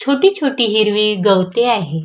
छोटी छोटी हिरवी गवते आहे.